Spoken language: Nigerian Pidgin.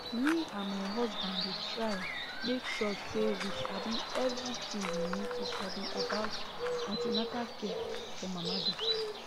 me and my husband dey try make sure say we sabi everything we need to sabi about an ten atal care for mama dem